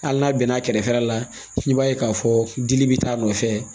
Hali n'a bɛnna a kɛrɛfɛla la i b'a ye k'a fɔ dili bɛ t'a nɔfɛ